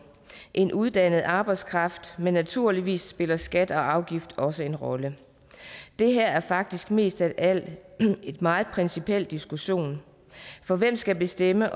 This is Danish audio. en uddannet arbejdskraft men naturligvis spiller skat og afgift også en rolle det her er faktisk mest af alt en meget principiel diskussion for hvem skal bestemme